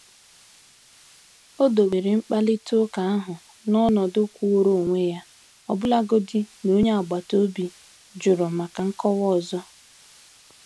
Ó do were mkparịta ụka ahụ n’ọ̀nọdụ kwụụrụ onwe ya, ọbụlagodi na onye agbata obi jụrụ maka nkọwa ọzọ.